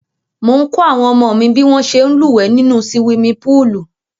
Mò ń kọ́ àwọn ọmọ mi bí wọ́n ṣe ń lúwẹ̀ẹ́ nínú siwimi póòlù